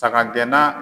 Saga gɛnna